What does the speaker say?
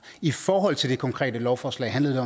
i forhold til det konkrete lovforslag handlede